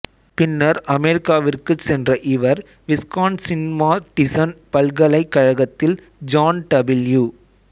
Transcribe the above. பின்னர் அமெரிக்காவிற்குச் சென்ற இவர் விஸ்கான்சின்மாடிசன் பல்கலைக்கழகத்தில் ஜான் டபிள்யூ